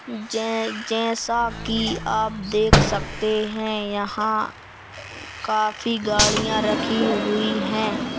जै जैसा कि आप देख सकते हैं यहां काफी गाड़ियां रखी हुई हैं।